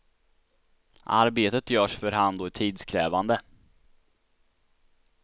Arbetet görs för hand och är tidskrävande.